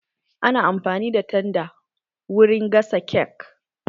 Ana amfani da tanda wurin gasa kek